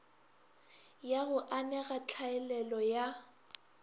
ya go anega tlhaelelo ya